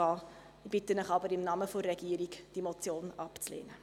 Ich bitte Sie aber im Namen der Regierung, diese Motion abzulehnen.